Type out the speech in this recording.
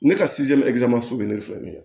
Ne ka bɛ ne fɛ nin ye